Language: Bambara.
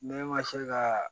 Ne ma se ka